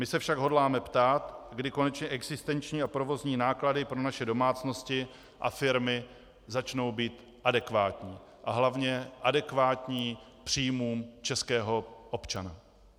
My se však hodláme ptát, kdy konečně existenční a provozní náklady pro naše domácnosti a firmy začnou být adekvátní a hlavně adekvátní příjmům českého občana.